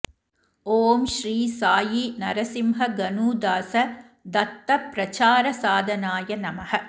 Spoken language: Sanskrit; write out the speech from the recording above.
ॐ श्री साई नरसिंह गनूदास दत्त प्रचारसाधनाय नमः